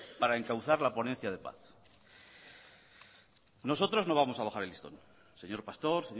para encauzar la ponencia de paz nosotros no vamos a bajar el listón señor pastor